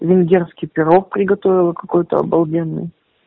венгерский пирог приготовила какой-то обалденный